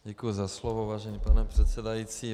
Děkuji za slovo, vážený pane předsedající.